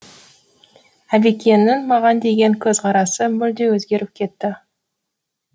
әбекеңнің маған деген көзқарасы мүлде өзгеріп кетті